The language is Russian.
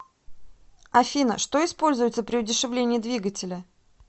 афина что используется при удешевлении двигателя